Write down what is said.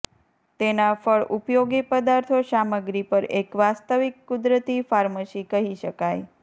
તેના ફળ ઉપયોગી પદાર્થો સામગ્રી પર એક વાસ્તવિક કુદરતી ફાર્મસી કહી શકાય